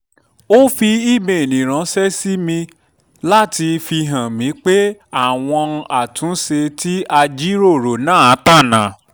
ó fi ímeèlì ránṣẹ́ sí mi láti fihàn mí pé àwọn àtúnṣe tí a jíròrò náà tọ̀nà